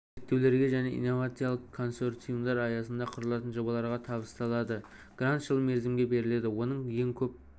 зерттеулерге және инновациялық консорциумдар аясында құрылатын жобаларға табысталады грант жыл мерзімге беріледі оның ең көп